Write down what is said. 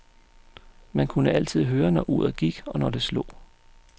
Man kunne altid høre, når uret gik, og når det slog.